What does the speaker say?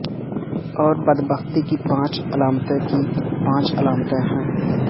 اور بدبختی کی پانچ علامتیں کی پانچ علامتیں ہیں